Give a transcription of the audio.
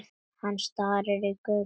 Hann starði í gaupnir sér.